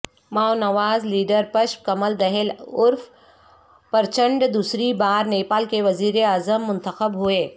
ماونواز لیڈرپشپ کمل دہل عرف پرچنڈ دوسری بار نیپال کے وزیر اعظم منتخب ہوئے